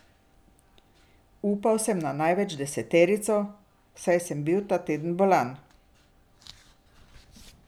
Upal sem na največ deseterico, saj sem bil ta teden bolan.